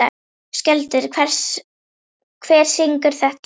Skjöldur, hver syngur þetta lag?